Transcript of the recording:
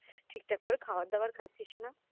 ঠিকঠাক করে খাওয়ার দাওয়ার খাচ্ছিস না